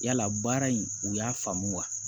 Yala baara in u y'a faamu wa